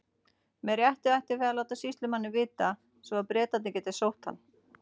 Með réttu ættum við að láta sýslumanninn vita, svo að Bretarnir geti sótt hann.